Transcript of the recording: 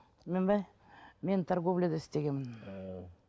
мен ба мен торговляда істегенмін а